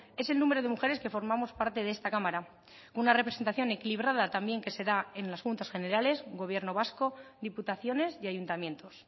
es el número de mujeres que formamos parte de esta cámara una representación equilibrada también que se da en las juntas generales gobierno vasco diputaciones y ayuntamientos